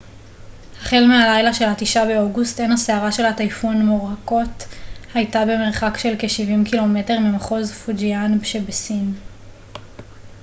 החל מהלילה של התשעה באוגוסט עין הסערה של הטייפון מוראקוט הייתה במרחק של כשבעים קילומטר ממחוז פוג'יאן שבסין